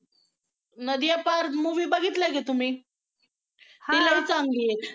नदियां पार movie बघितलाय का तुम्ही? ती लई चांगली आहे.